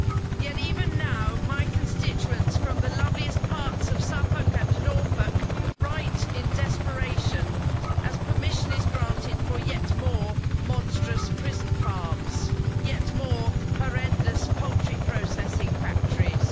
Yet even now, my constituents from the loveliest parts of Suffolk and Norfolk write in desperation, as permission is granted for yet more monstrous prison farms, yet more horrendous poultry processing factories.